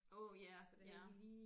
Åh ja ja